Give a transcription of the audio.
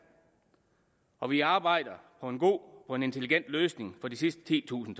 og vi arbejder på en god og intelligent løsning for de sidste titusind